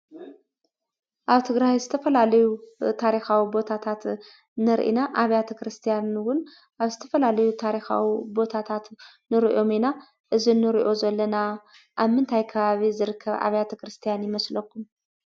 ኣብ ትግራይ ዝተፈላለዩ ታሪካዊ ቦታታት ንርኢ ኢና። ኣብያተ ክርስቲያናት እውን ኣብ ዝተፈላለዩ ታሪካዊ ቦታታት ንሪኦም ኢና። እዚ ንሪኦ ዘለና ኣብ ምንታይ ከባቢ ዝርከብ ኣብያተ ክርስቲያን ይመስለኩም?